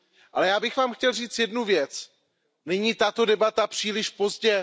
Ale já bych vám chtěl říct jednu věc Není tato debata příliš pozdě?